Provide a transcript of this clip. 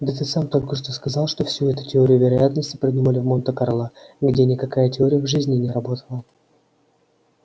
да ты сам только что сказал что всю эту теорию вероятности придумали в монте-карло где никакая теория в жизни не работала